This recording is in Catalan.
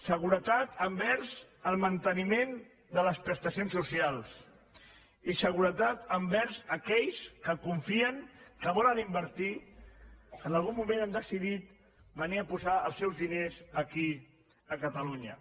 seguretat envers el manteniment de les prestacions socials i seguretat envers aquells que confien que volen invertir que en algun moment han decidit venir a posar els seus diners aquí a catalunya